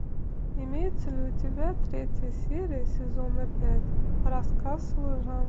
имеется ли у тебя третья серия сезона пять рассказ служанки